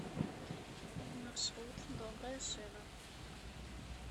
маршрут добрая шина